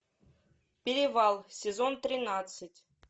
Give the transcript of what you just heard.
перевал сезон тринадцать